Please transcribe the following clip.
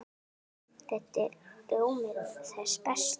Þetta er rjómi þess besta.